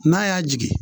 N'a y'a jigin